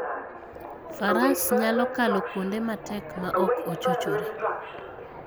Faras nyalo kalo kuonde matek maok ochochore.